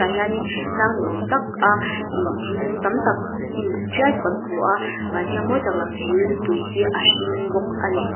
hianin tlang ni awm tak a ihh thingkung tam tak hnimbuk tial chu kan hmu a van thiang mawi tak lang thei in tui hi a hring bawk ani.